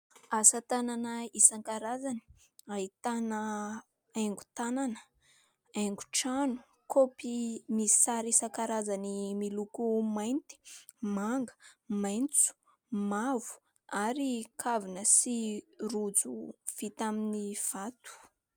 Asa tanana isankarazany ahitana haingo tanana, haingo trano. Kaopy misy sary isankarazany miloko mainty, manga, maitso, mavo ary kavina sy rojo vita amin'ny vato.